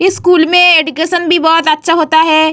इस स्कूल में एडुकेशन भी बहुत अच्छा होता है।